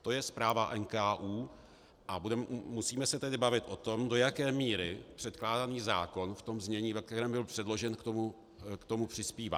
To je zpráva NKÚ, a musíme se tedy bavit o tom, do jaké míry předkládaný zákon v tom znění, ve kterém byl předložen, k tomu přispívá.